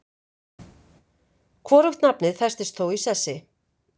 Hvorugt nafnið festist þó í sessi.